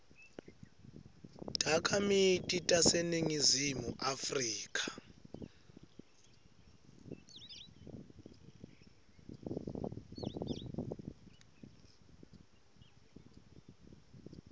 takhamiti taseningizimu afrika